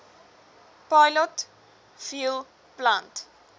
pilot fuel plant